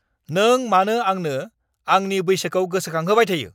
नों मानो आंनो आंनि बैसोखौ गोसोखांहोबाय थायो!